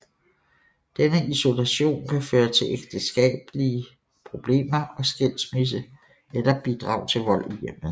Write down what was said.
Denne isolation kan føre til ægteskabelige problemer og skilsmisse eller bidrage til vold i hjemmet